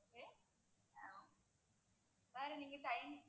வேற நீங்க time